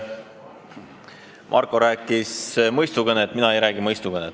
Marko rääkis mõistukõnet, mina ei räägi mõistukõnet.